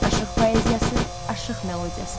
Aşıq poeziyası, aşıq melodiyası.